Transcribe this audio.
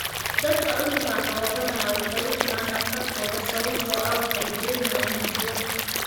Dadka cudurkaan qaba badanaa waxay u tagaan dhakhtarkooda sababtoo ah waxay dareemayaan jirro.